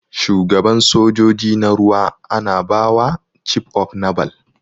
Shuagaban sojojin na ruwa ana bawa cif of nabal.